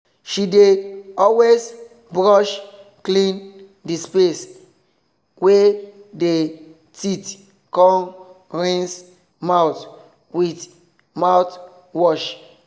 she dey always brush clean the space wey dey teeth com rinse mouth with mouthwash